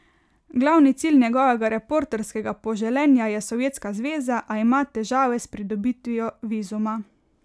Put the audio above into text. Glavni cilj njegovega reporterskega poželenja je Sovjetska zveza, a ima težave s pridobitvijo vizuma.